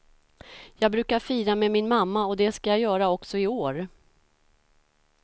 Jag brukar fira med min mamma och det ska jag göra också i år.